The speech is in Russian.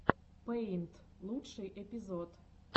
пэйнт лучший эпизод